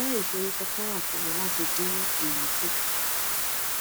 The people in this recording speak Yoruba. nje isoro kankan wa fun mi lati din eyi ku